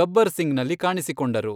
ಗಬ್ಬರ್ ಸಿಂಗ್ನಲ್ಲಿ ಕಾಣಿಸಿಕೊಂಡರು.